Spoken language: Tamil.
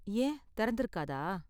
ஏன் திறந்திருக்காதா?